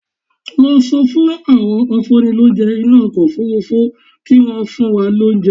Sọ fún àwọn afúnnilóúnjẹ inú ọkọ̀ Òfurufú kí wọ́n fún wa lóúnjẹ